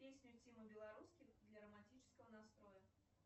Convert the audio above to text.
песня тимы белорусских для романтического настроя